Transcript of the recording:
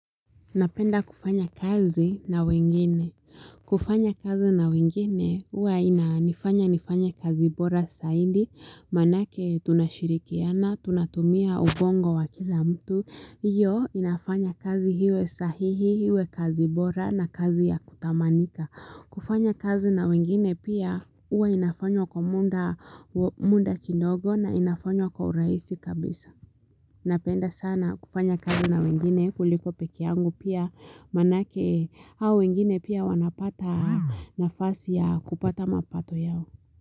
Napenda kufanya kazi na wengine. Kufanya kazi na wengine huwa inanifanya nifanye kazi bora zaidi, maanake tunashirikiana, tunatumia ubongo wa kila mtu. Iyo inafanya kazi iwe sahihi, iwe kazi bora na kazi ya kutamanika. Kufanya kazi na wengine pia huwa inafanywa kwa muda kidogo na inafanywa kwa urahisi kabisa. Napenda sana kufanya kazi na wengine kuliko peke yangu pia maanake hao wengine pia wanapata nafasi ya kupata mapato yao.